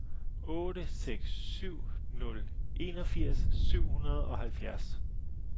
otte seks syv nul enogfirs syv hundrede og halvfjerds